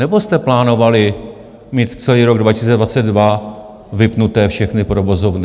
Nebo jste plánovali mít celý rok 2022 vypnuté všechny provozovny?